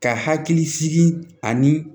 Ka hakili sigi ani